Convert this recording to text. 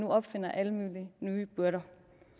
opfinder alle mulige nye byrder